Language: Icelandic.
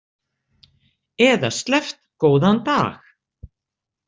Eða sleppt góðan dag.